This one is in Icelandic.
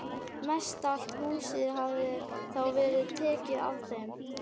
Mestallt húsið hafði þá verið tekið af þeim.